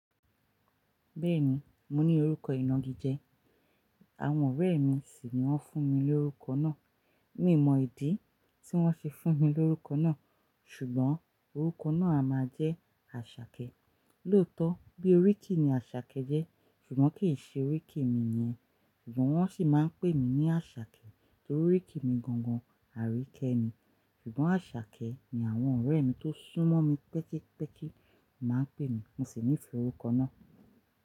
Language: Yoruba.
Bẹ́ẹ̀ni, mo ní orúkọ ìnagíjẹ̀, àwọn ọ̀rẹ́ mi sì ni wọ́n fún mi ní orúkọ náà. Mi ò mọ ìdí tí wọ́n fi fún mi lórúkọ náà, ṣùgbọ́n orúkọ náà a máa jẹ́ Àṣàkẹ́. Lóòótọ́ bí oríkì ni Àṣàkẹ́ jẹ́, ṣùgbọ́n kì í ṣe oríkì mi nìyẹn. Won si maa n pe mi ni Asake, oriki mi gangan Arike ni, sugbon Asake, ni awon ore mi to sun mo mi pekipeki ni won pe mi, mo si nifee oruko naa.